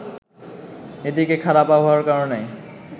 এদিকে খারাপ আবহাওয়ার কারণে